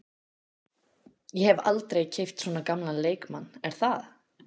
Ég hef aldrei keypt svona gamlan leikmann er það?